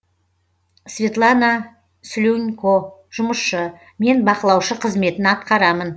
светлана слюнько жұмысшы мен бақылаушы қызметін атқарамын